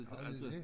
Har de det?